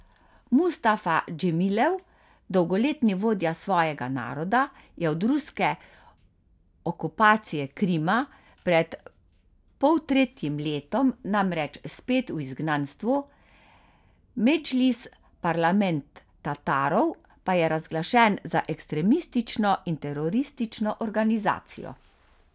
Mustafa Džemilev, dolgoletni vodja svojega naroda, je od ruske okupacije Krima pred poltretjim letom namreč spet v izgnanstvu, medžlis, parlament Tatarov, pa je razglašen za ekstremistično in teroristično organizacijo.